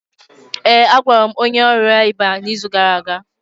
ee, a gwọrọ m onye ọrịa ịba n'izu gara aga